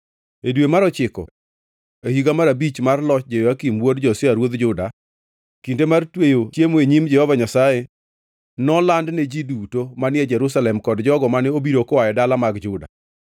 E dwe mar ochiko e higa mar abich mar loch Jehoyakim wuod Josia ruodh Juda, kinde mar tweyo e nyim Jehova Nyasaye nolandne ji duto manie Jerusalem kod jogo mane obiro koa e dala mag Juda.